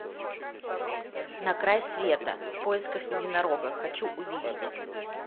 на край света в поисках единорога хочу увидеть